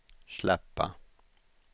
släppa